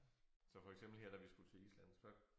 Så for eksempel her da vi skulle til Island så